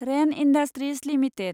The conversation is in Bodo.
rain industries limited